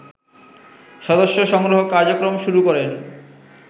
সদস্য সংগ্রহ কার্যক্রম শুরু করে